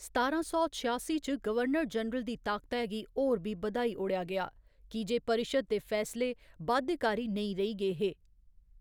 सतारां सौ छेआसी च, गवर्नर जनरल दी ताकतै गी होर बी बद्‌धाई ओड़ेआ गेआ, की जे परिश्द् दे फैसले बाध्यकारी नेईं रेही गे हे।